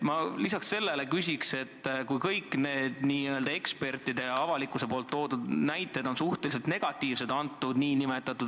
Kõik ekspertide ja muu avalikkuse hinnangud reformi kohta on suhteliselt negatiivsed.